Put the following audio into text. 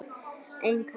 einn kassa?